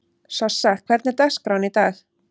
Sossa, hvernig er dagskráin í dag?